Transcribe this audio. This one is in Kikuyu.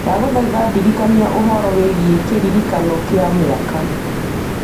ndagũthaitha ndirikania ũhoro wĩgiĩ kĩririkano kĩa mĩaka